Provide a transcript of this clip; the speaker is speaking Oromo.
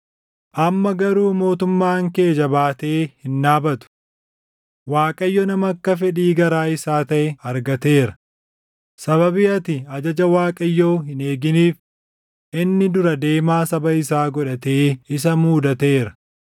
Amma garuu mootummaan kee jabaatee hin dhaabatu; Waaqayyo nama akka fedhii garaa isaa taʼe argateera; sababii ati ajaja Waaqayyoo hin eeginiif inni dura deemaa saba isaa godhatee isa muudateera.”